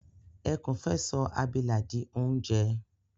Ẹkún fẹ́ sọ abilà di oúnjẹ